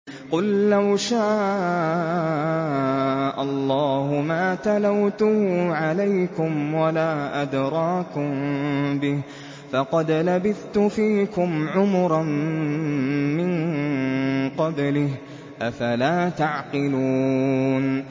قُل لَّوْ شَاءَ اللَّهُ مَا تَلَوْتُهُ عَلَيْكُمْ وَلَا أَدْرَاكُم بِهِ ۖ فَقَدْ لَبِثْتُ فِيكُمْ عُمُرًا مِّن قَبْلِهِ ۚ أَفَلَا تَعْقِلُونَ